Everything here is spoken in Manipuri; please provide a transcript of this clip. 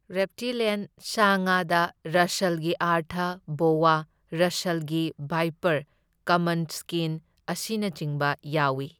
ꯔꯦꯞꯇꯤꯂ꯭ꯌꯟ ꯁꯥ ꯉꯥꯗ ꯔꯁꯜꯒꯤ ꯑꯔꯊ ꯕꯣꯋꯥ, ꯔꯁꯜꯒꯤ ꯚꯥꯏꯄꯔ, ꯀꯃꯟ ꯁ꯭ꯀꯤꯟ, ꯑꯁꯤꯅꯆꯤꯡꯕ ꯌꯥꯎꯢ꯫